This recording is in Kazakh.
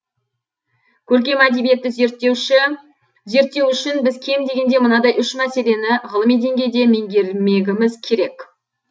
көркем әдебиетті зерттеу үшін біз кем дегенде мынадай үш мәселені ғылыми деңгейде меңгермегіміз керек